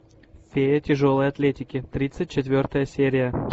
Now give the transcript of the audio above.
фея тяжелой атлетики тридцать четвертая серия